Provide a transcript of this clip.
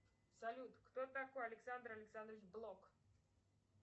салют кто такой александр александрович блок